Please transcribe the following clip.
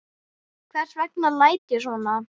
Hvers vegna læt ég svona?